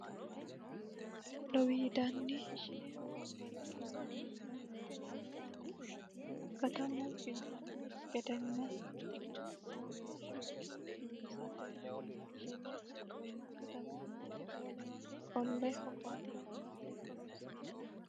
lowiidani ishine hogombanni kaameella tini kaameella katamu biifanno gedenna kuchuma lowo geeshsha biifisate ishine katamunni wolewa qolle hogoombe hunate horoonsi'naanni